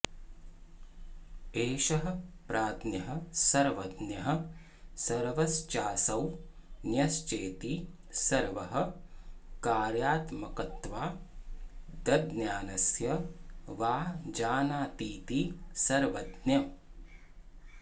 एष प्राज्ञः सर्वज्ञः सर्वश्चासौ ज्ञश्चेति सर्वकार्यात्मकत्वादज्ञानस्य वा जानातीति सर्वज्ञः